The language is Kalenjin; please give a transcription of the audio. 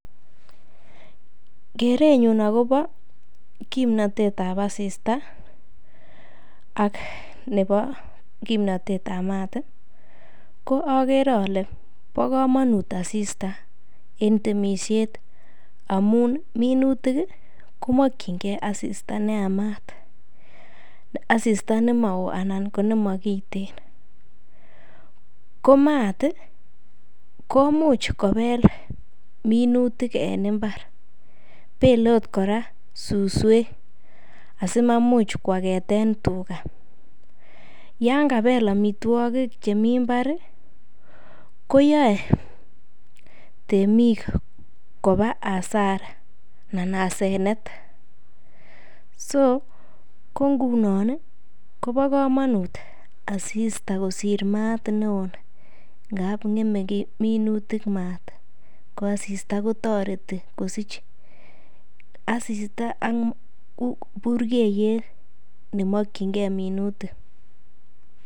Kerenyun agobo kimnatet ab asista ak kimnatet ab mat ko agere ole bo komonut asista en temisiet amun minutik komokinge asista ne yamat asista ne mo woo anan ko nemo kiten. Ko maat komuch kobel minutik en mbar, bele agot kora suswek asimamuch koageten tuga yan kabel amitwogik chemi mbar koyoe teik koba hasara anan hasanet. So ko ngunon kobo komonut asista kosir maat neo ngap ng'eme minutik maat. Ko asisita kotoreti kosich. Asista ko konu burgeiyet nemokinge minutik.